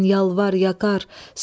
Sən yalvar, yaqar.